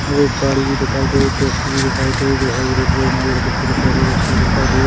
-- और एक गाड़ी भी दिखायी दे रही टैक्सी भी दिखायी दे रही जो हाईवे रोड पे हमारी पेड़ -पौधॆ भी अच्छी दिखाई दे--